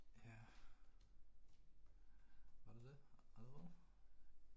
Ja. Var det det? Alvor?